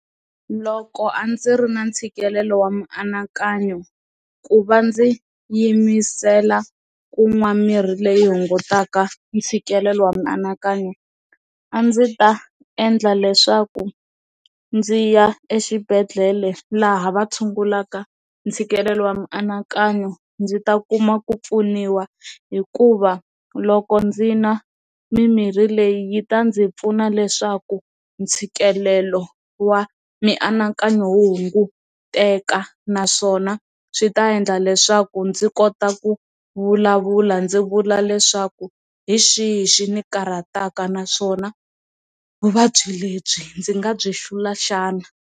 Loko a ndzi ri na ntshikelelo wa mianakanyo ku va ndzi yimisela ku nwa mirhi leyi hungutaka ntshikelelo wa mianakanyo a ndzi ta endla leswaku ndzi ya exibedhlele laha va tshungulaka ntshikelelo wa mianakanyo ndzi ta kuma ku pfuniwa hikuva loko ndzi nwa mimirhi leyi yi ta ndzi pfuna leswaku ntshikelelo wa mianakanyo hunguteka naswona swi ta endla leswaku ndzi kota ku vulavula ndzi vula leswaku hi xihi xi ni karhataka naswona vuvabyi lebyi ndzi nga byi xivula xana.